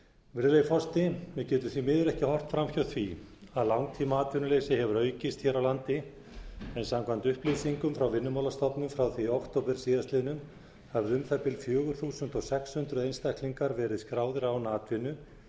virðulegi forseti við getum því miður ekki horft fram hjá því að langtímaatvinnuleysi hefur aukist hér á landi en samkvæmt upplýsingum frá vinnumálastofnun frá því í október síðastliðinn höfðu fjögur þúsund sex hundruð einstaklingar verið skráðir án atvinnu